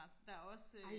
der er også øh